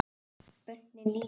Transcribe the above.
Börnin líka.